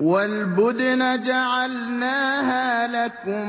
وَالْبُدْنَ جَعَلْنَاهَا لَكُم